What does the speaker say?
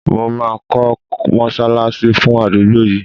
Mo ma ko mosalasi fun adugbo yii